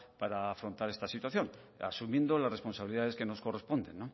para afrontar esta situación asumiendo las responsabilidades que nos corresponden